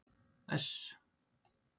S